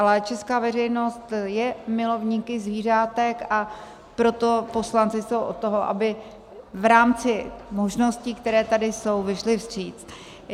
Ale česká veřejnost je milovníky zvířátek, a proto poslanci jsou od toho, aby v rámci možností, které tady jsou, vyšli vstříc.